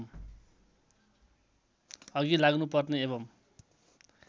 अघि लाग्नुपर्ने एवं